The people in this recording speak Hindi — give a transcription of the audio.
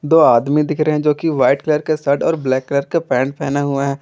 दो आदमी दिख रहे हैं जोकि वाइट कलर के शर्ट और ब्लैक कलर के पेंट पहना हुआ है।